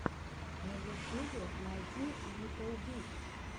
на ютюбе найди литтл биг